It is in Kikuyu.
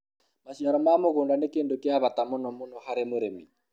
maciaro ma mũgũnda ni kĩndũ kia bata munomuno harĩ mũrĩmi